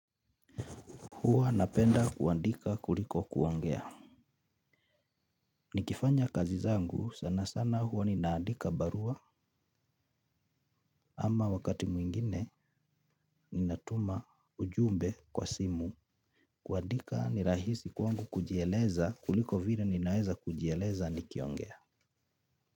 Huwa napenda kuandika kuliko kuongea nikifanya kazi zangu sana sana huwa ninaandika barua ama wakati mwingine ninatuma ujumbe kwa simu kuandika ni rahisi kwangu kujieleza kuliko vile ninaeza kujieleza nikiongea.